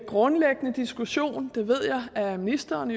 grundlæggende diskussion det ved jeg at ministeren